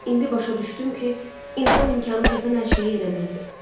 İndi başa düşdüm ki, insan imkanı çatan hər şeyi eləməlidir.